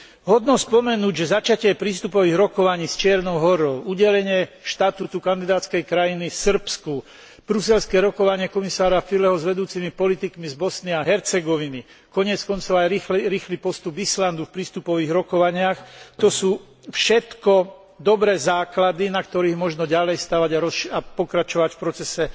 Hodno spomenúť, že začatie prístupových rokovaní s Čiernou Horou, udelenie štatútu kandidátskej krajiny Srbsku, bruselské rokovania komisára Füleho s vedúcimi politikmi z Bosny a Hercegoviny, koniec koncov aj rýchly postup Islandu v prístupových rokovaniach, to sú všetko dobré základy, na ktorých možno ďalej stavať a pokračovať v procese